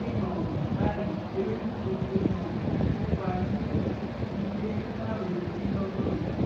ní um báyìí eré tí mo ti um kópa nínú ẹ ti lé ní márùndínlọgọrin